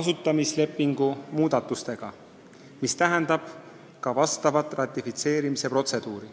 asutamislepingu muudatustega, mis tähendab ka asjaomast ratifitseerimise protseduuri.